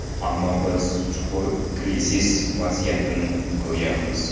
Ammo biz chuqur krizis vaziyatini ko‘ryapmiz.